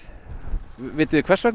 vitið þið hvers vegna